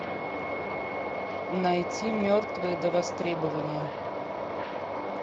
найти мертвые до востребования